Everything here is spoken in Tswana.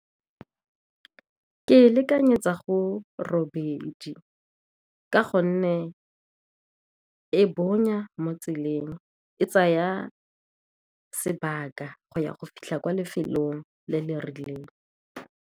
Ke e lekanyetsa go robedi ka gonne e bonya mo tseleng, e tsaya sebaka go ya go fitlha kwa lefelong le le rileng.